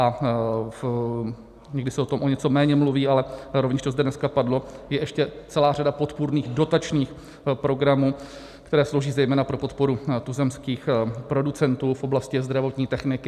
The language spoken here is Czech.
A někdy se o tom o něco méně mluví, ale rovněž to zde dneska padlo, je ještě celá řada podpůrných dotačních programů, které slouží zejména pro podporu tuzemských producentů v oblasti zdravotní techniky.